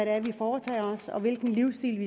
er vi foretager os og hvilken livsstil